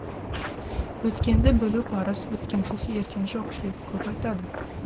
өткенді білу парыз өткенсіз ертең жоқ деп көп айтады